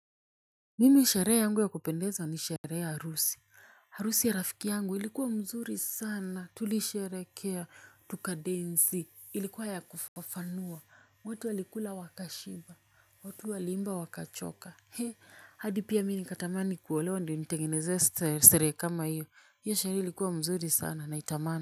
Mimi sherehe yangu ya kupendeza ni sherehe ya harusi harusi ya rafiki yangu ilikuwa mzuri sana tulisherekea tukadensi ilikuwa ya kufafanua. Watu walikula wakashiba watu waliimba wakachoka. He hadi pia mimi nikatamani kuolewa ndio nitengenezewe seree kama hiyo hiyo sherehe ilikuwa mzuri sana naitamani.